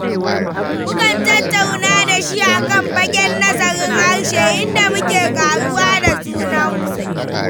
Mukan tattauna da shi a kan fagen nazarin harshe, inda muke ƙaruwa da junanmu.